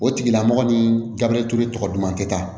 O tigilamɔgɔ ni garisɛgɛ ture tɔgɔ duman tɛ taa